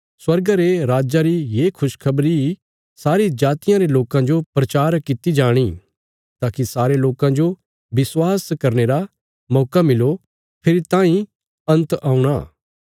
स्वर्गा रे राज्जा री ये खुशखबरी सारी जातियां रे लोकां जो प्रचार कित्ती जाणी ताकि सारे लोकां जो विश्वास करने रा मौका मिलो फेरी तांई अन्त औणा